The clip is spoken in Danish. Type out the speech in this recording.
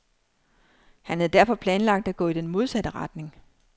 Han havde derfor planlagt at gå i den modsatte retning.